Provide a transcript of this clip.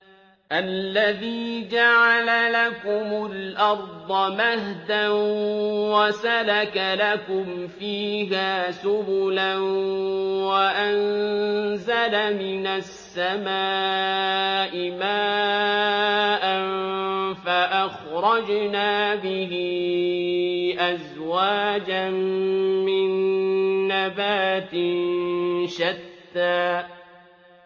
الَّذِي جَعَلَ لَكُمُ الْأَرْضَ مَهْدًا وَسَلَكَ لَكُمْ فِيهَا سُبُلًا وَأَنزَلَ مِنَ السَّمَاءِ مَاءً فَأَخْرَجْنَا بِهِ أَزْوَاجًا مِّن نَّبَاتٍ شَتَّىٰ